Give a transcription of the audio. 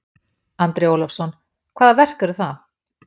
Andri Ólafsson: Hvaða verk eru það?